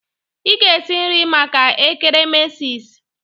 Ị ga esi nri maka ekeremesis!